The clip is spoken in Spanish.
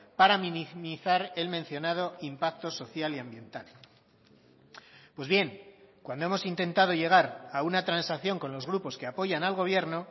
para minimizar el mencionado impacto social y ambiental pues bien cuando hemos intentado llegar a una transacción con los grupos que apoyan al gobierno